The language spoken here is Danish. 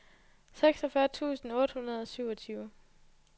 seksogfyrre tusind otte hundrede og niogtyve